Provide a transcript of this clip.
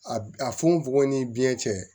A a funufunɔgɔ ni biɲɛ cɛ